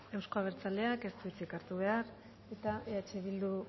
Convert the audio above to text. euzko abertzaleak ez du hitzik hartu behar eta eh bilduk